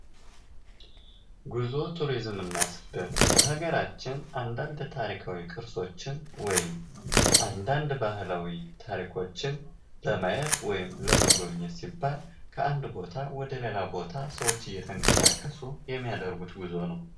ጉዞ ቱሪዝም እና ስደት በሀገራችን አንዳንድ ታሪካዊ ቅርሶችን ወይም አንዳንድ ባህላዊ ታሪኮችን ለማየት ወይም ለመጎብኘት ሲባል ከአንድ ቦታ ወደ ሌላ ቦታ ሰዎች እየተንቀሳቀሱ የሚያደርጉት ጉዞ ነው።